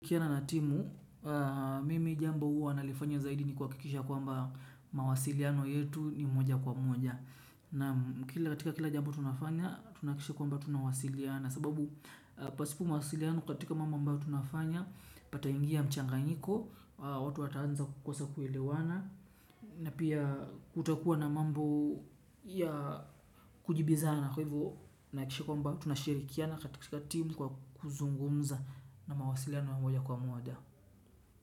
Kikiana na timu, mimi jambo uwa nalifanya zaidi ni kwa kikisha kwamba mawasiliano yetu ni moja kwa moja. Na katika kila jambo tunafanya, tunaakisha kwa mba tunawasiliana. Sababu pasipo mawasiliano katika mambo mba tunafanya, pata ingia mchanga niko, watu ataanza kukosa kuelewana. Na pia kutakuwa na mambo ya kujibizana kwa hivu na kishikwamba tunashirikia na katika timu kwa kuzungumza na mawasilano wa mwaja kwa mwada.